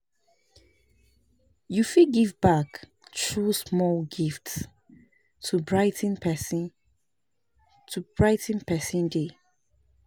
Yu fit give back thru small gifts to brigh ten pesin to brigh ten pesin day.